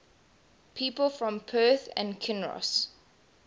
people from perth and kinross